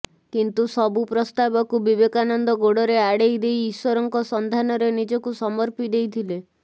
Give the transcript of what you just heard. କିନ୍ତୁ ସବୁ ପ୍ରସ୍ତାବକୁ ବିବେକାନନ୍ଦ ଗୋଡ଼ରେ ଆଡ଼େଇ ଦେଇ ଇଶ୍ୱରଙ୍କ ସନ୍ଧାନରେ ନିଜକୁ ସମର୍ପି ଦେଇଥିଲେ